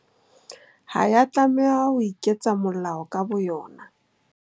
Ha ya tlameha ho iketsa molao ka bo yona.